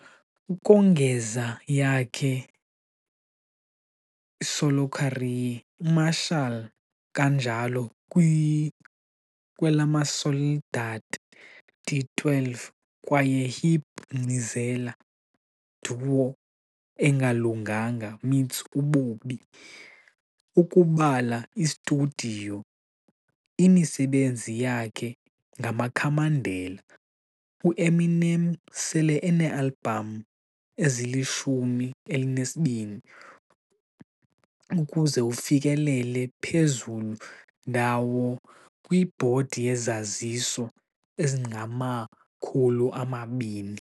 Ukongeza yakhe solo career, Marshall kanjalo kwi-lamasoldati D12 kwaye hip ngcileza Duo Engalunganga Meets Ububi. Ukubala i-Studio umsebenzi zakhe ngamakhamandela, Eminem sele 12 albums ukuze ufikelele phezulu ndawo kwi ibhodi yezaziso 200.